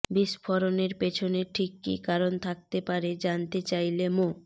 বিস্ফোরণের পেছনে ঠিক কী কারণ থাকতে পারে জানতে চাইলে মো